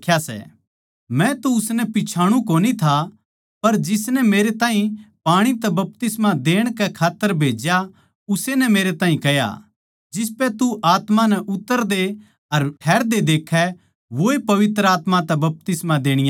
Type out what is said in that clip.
मै तो उसनै पिच्छाणु कोनी था पर जिसनै मेरै ताहीं पाणी तै बपतिस्मा देण कै खात्तर भेज्या उस्से नै मेरै ताहीं कह्या जिसपै तू आत्मा नै उतरदे अर ठहरदे देक्खै वोए पवित्र आत्मा तै बपतिस्मा देणिया सै